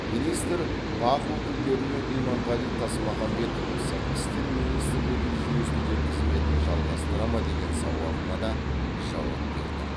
министр бақ өкілдерінің иманғали тасмағамбетов сыртқы істер министрлігі жүйесінде қызметін жалғастыра ма деген сауалына да жауап берді